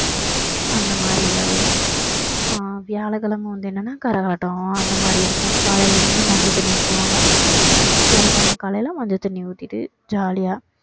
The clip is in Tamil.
அந்த மாதிரி எதாவது இருக்கும் அஹ் வியாழக்கிழமை வந்து என்னன்னா கரகாட்டம் அந்த மாதிரி இருக்கும் காலையில இருந்து மஞ்சள் தண்ணி ஊத்துவாங்க வியாழக்கிழமை காலையில மஞ்சள் தண்ணி ஊத்திட்டு jolly யா